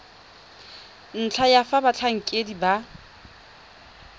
ntlha ya fa batlhankedi ba